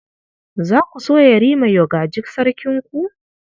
Za ku so Yarima ua gaji Sarkinku?